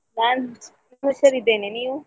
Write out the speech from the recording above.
ನಾನು ಹುಷಾರಿದ್ದೇನೆ ನೀವು?